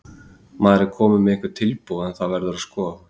Maður er kominn með einhver tilboð en það verður að skoða það.